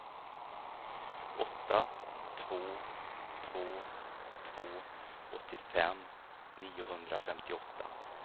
åtta två två två åttiofem niohundrafemtioåtta